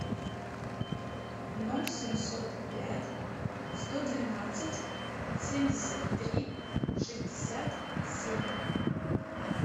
ноль семьсот пять сто двенадцать семьдесят три шестьдесят семь